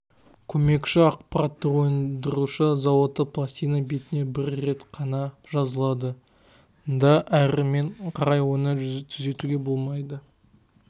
көмекші ақпараттар өндіруші зауытта пластина бетіне бір рет қана жазылады да әрмен қарай оны түзетуге болмайды